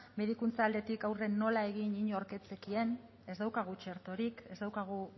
medikuntza aldetik aurre nola egin inork ez zekien ez daukagu txertorik ez daukagu